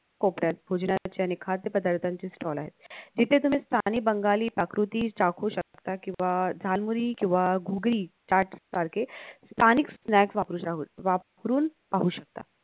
कोपऱ्यात भोजनाचे आणि खाद्यपदार्थांचे stall आहेत तिथे तुम्ही स्थानी बंगाली पाकृती चाखू शकता किंवा दळमुरि किंवा घुगरी चाट सारखे स्थानिक snacks वापरु शकता वापरून पाहू शकता